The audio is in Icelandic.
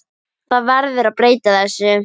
Það verður að breyta þessu.